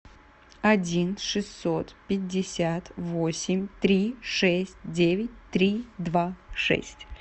один шестьсот пятьдесят восемь три шесть девять три два шесть